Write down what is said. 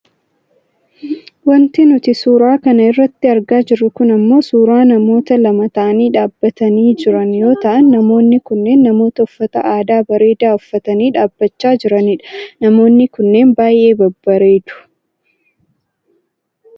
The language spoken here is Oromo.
Wanti nuti suuraa kana irratti argaa jirru kun ammoo suuraa namoota lama ta'anii dhaabbatanii jiran yoo ta'an namoonni kunneen namoota uffata aadaa bareedaa uffatanii dhaabbachaa jiranidha. Namoonni kunneen baayyee babbareedu.